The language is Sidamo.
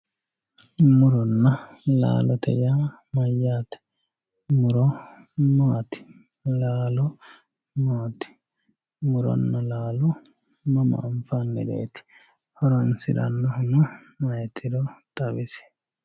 Muronna laallote yaa mayate, muro maati, laallo maati, mutonna laallo mamma anfanireeti, hotonsiranohunno ayeetiro xawisi